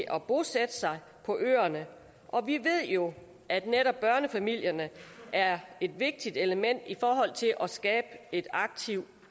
at bosætte sig på øerne og vi ved jo at netop børnefamilierne er et vigtigt element i forhold til at skabe et aktivt